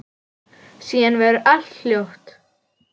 Síðan verður allt hljótt.